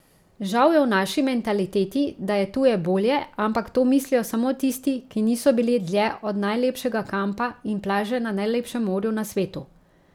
Žal je v naši mentaliteti, da je tuje bolje, ampak to mislijo samo tisti, ki niso bili dlje od najlepšega kampa in plaže na najlepšem morju na svetu.